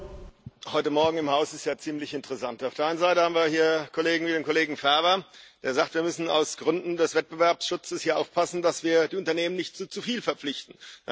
Frau Präsidentin! Heute Morgen im Haus ist es ja ziemlich interessant Auf der einen Seite haben wir hier Kollegen wie den Kollegen Ferber, der sagt, wir müssen aus Gründen des Wettbewerbsschutzes hier aufpassen, dass wir die Unternehmen nicht zu zu viel verpflichten.